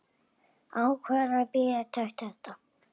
Ákveður að bíða átekta.